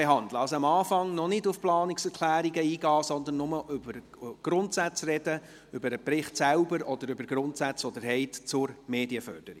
Gehen Sie also am Anfang noch nicht auf die Planungserklärungen ein, sondern sprechen Sie nur über die Grundsätze, über den Bericht an sich oder über Ihre Grundsätze zur Medienförderung.